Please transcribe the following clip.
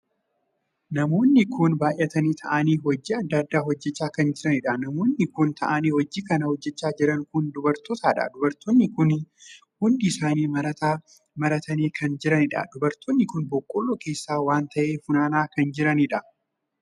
Namoonni kun baay'atanii taa'anii hojii addaa addaa hojjechaa kan jiranidha. namoonni kun taa'anii hojii kana hojjechaa jiran kun dubartootadha. dubartoonni kun hundi isaanii marataa maratanii kan jiranidha. dubartoonni kun boqqolloo keessaa waan tahe funaanaa kan jiranidha.